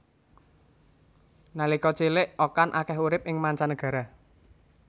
Nalika cilik Okan akeh urip ing manca negara